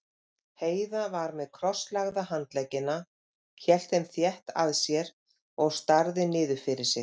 Heiða var með krosslagða handleggina, hélt þeim þétt að sér og starði niður fyrir sig.